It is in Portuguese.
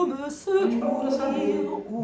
Então, a gente procura saber.